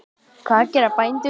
Og hvað gera bændur þá?